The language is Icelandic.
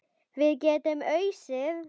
Við getum ausið.